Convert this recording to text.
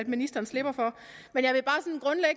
ministeren slipper for men jeg